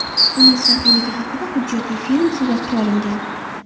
Uning saxiyligi haqida hujjatli film suratga olingan.